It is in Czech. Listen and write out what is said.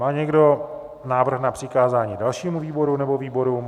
Má někdo návrh na přikázání dalšímu výboru nebo výborům?